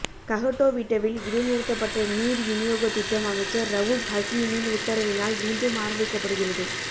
கஹட்டோவிட்டவில் இடைநிறுத்தப்பட்ட நீர் விநியோகத்திட்டம் அமைச்சர் ரவூப் ஹக்கீமின் உத்தரவினால் மீண்டும் ஆரம்பிக்கப்படுகிறது